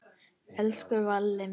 Elsku Valli minn.